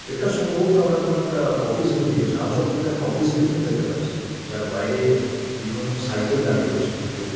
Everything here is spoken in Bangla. এটা সম্ভবত আমরা কোন একটা অফিস বিল্ডিং ঝাঁ চকচকে একটা অফিস বিল্ডিং দেখতে পাচ্ছি যার বাইরে বিভিন্ন রকম সাইকেল দাঁড়িয়ে রয়েছে এবং।